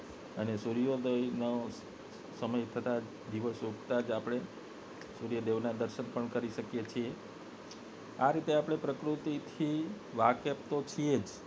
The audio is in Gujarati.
અને સૂર્યોદય ની સમય થતાં જ અને દિવસ ઉગતાં જ આપને સૂર્યોદય ના દર્શન પણ કરી શકીએ છે આ રીતે આપને પ્રકૃતિ થી વાકેફ તો છે જ